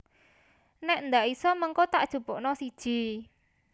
Nek ndak iso mengko tak jupukno siji